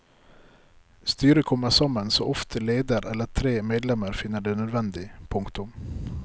Styret kommer sammen så ofte leder eller tre medlemmer finner det nødvendig. punktum